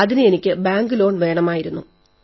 അതിന് എനിക്ക് bank loan വേണമായിരുന്നു